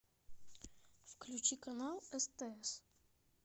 включи канал стс